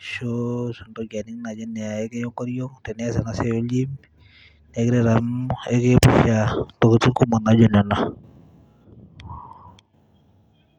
ashu tenintoki aning naaji enaa ekiya enkoriong tenias enasiai ol gym nekiret amu ekiepusha intokitin kumok naijo nena.